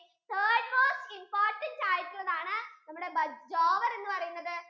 third most important ആയിട്ടുള്ളതാണ് നമ്മുടെ ബജ് jowar എന്ന് പറയുന്നത്